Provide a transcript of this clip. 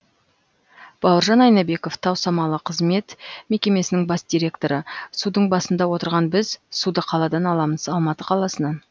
бауыржан айнабеков тау самалы қызмет мекемесінің бас директоры судың басында отырған біз суды қаладан аламыз алматы қаласынан